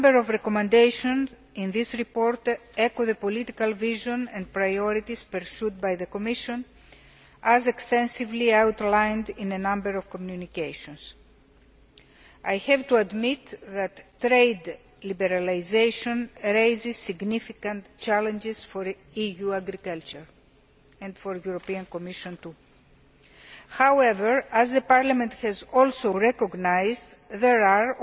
A number of recommendations in this report echo the political vision and priorities pursued by the Commission, as extensively outlined in a number of communications. I have to admit that trade liberalisation raises significant challenges for EU agriculture and for the European Commission, too. However, as Parliament has also recognised, there are